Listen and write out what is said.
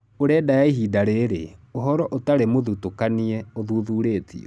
Ũrenda ya ihinda rĩrĩ, ũhoro ũtarĩ mũthutũkanie ũthuthurĩtio.